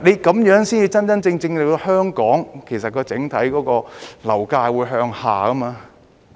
這樣才能真正令香港的整體樓價向下調。